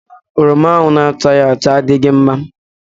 Oroma ahụ na-achaghị acha adịghị mma.